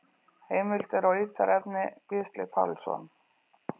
Heimildir og ítarefni: Gísli Pálsson.